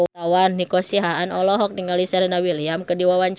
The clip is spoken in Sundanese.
Nico Siahaan olohok ningali Serena Williams keur diwawancara